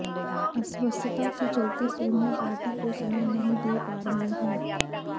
अस्वस्थता के चलते सोनिया पार्टी को समय नहीं दे पा रही हैं